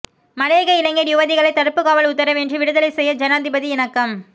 மலையக இளைஞர் யுவதிகளை தடுப்புக்காவல் உத்தரவின்றி விடுதலை செய்ய ஜனாதிபதி இணக்கம்